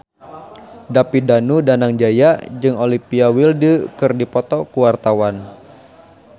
David Danu Danangjaya jeung Olivia Wilde keur dipoto ku wartawan